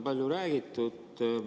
Maksuamet nende tegevust ka kontrollib.